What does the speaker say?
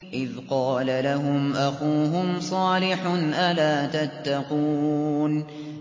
إِذْ قَالَ لَهُمْ أَخُوهُمْ صَالِحٌ أَلَا تَتَّقُونَ